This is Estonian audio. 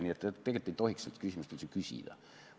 Nii et tegelikult ei tohiks seda küsimust üldse küsida.